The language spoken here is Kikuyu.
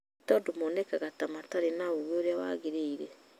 Nĩ tondũ monekaga ta matarĩ na ũũgĩ ũrĩa wagĩrĩire